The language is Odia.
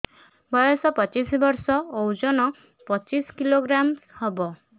ବୟସ ପଚିଶ ବର୍ଷ ଓଜନ ପଚିଶ କିଲୋଗ୍ରାମସ ହବ